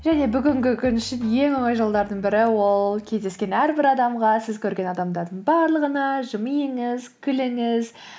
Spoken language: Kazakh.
және бүгінгі күн үшін ең оңай жолдардың бірі ол кездескен әрбір адамға сіз көрген адамдардың барлығына жымиыңыз күліңіз